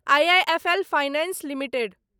IIFL finance limited